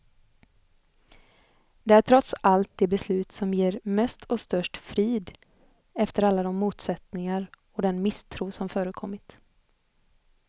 Det är trots allt det beslut som ger mest och störst frid, efter alla de motsättningar och den misstro som förekommit.